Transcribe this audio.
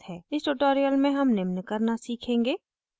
इस tutorial में हम निम्न करना सीखेंगे :